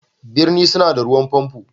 Birni suna da ruwan pompo.